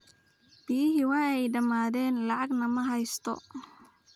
Biyihii way dhammaadeen lacagna ma haysto